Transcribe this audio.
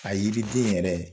A yiri den yɛrɛ